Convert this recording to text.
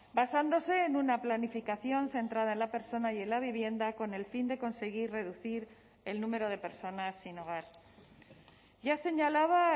basándose en una planificación centrada en la persona y en la vivienda con el fin de conseguir reducir el número de personas sin hogar ya señalaba